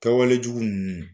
Kɛawalejugu ninnu